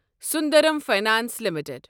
Sundaram finance limited